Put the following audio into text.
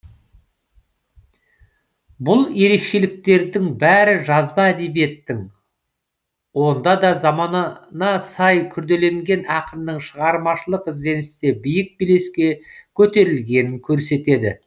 бұл ерекшеліктердің бәрі жазба әдебиеттің онда да заманына сай күрделенген ақынның шығармашылық ізденісте биік белеске көтерілгенін көрсетеді